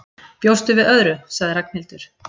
Bjóstu við öðru? sagði Ragnhildur.